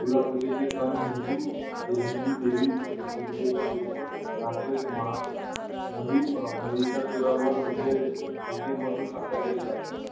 दुर्गा पूजेचा सण हिंदू हिंदू देवी दुर्गे चा दृष्ट राक्षस मा महि अह महिषासुरावर विजय म्हणून साजरा केला जातो